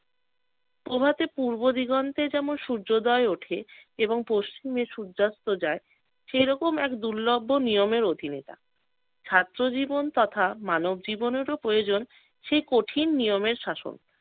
প্রভাতে পূর্ব দিগন্তে যেমন সূর্যোদয় ওঠে এবং পশ্চিমে সূর্যাস্ত যায় সেই রকম এক দুর্লভবন নিয়মের অধীনে থাক। ছাত্র জীবন তথা মানব জীবনেরও প্রয়োজন সেই কঠিন নিয়মের শাসন।